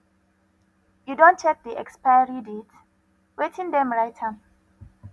you don check de expiry date wetin them write am